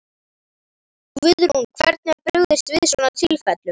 Guðrún, hvernig er brugðist við svona tilfellum?